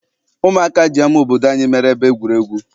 Ụmụaka ji ama obodo anyị meere ebe egwuregwu.